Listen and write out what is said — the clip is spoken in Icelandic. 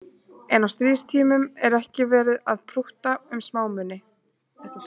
En á stríðstímum er ekki verið að prútta um smámuni